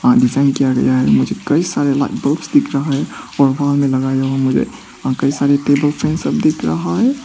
आ design किया गया है। मुझे कई सारे लाइट्स बलब्स दिख रहा है और वहा मे लगाए हुए मुझे आ कई सारे टेबल फैन सब दिख रहा है।